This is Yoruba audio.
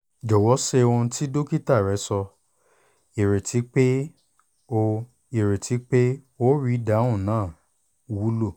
jọwọ ṣe ohun ti dokita rẹ sọ ireti pe o ireti pe o rii idahun naa wulo